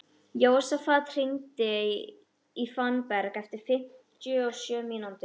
Jósafat, hringdu í Fannberg eftir fimmtíu og sjö mínútur.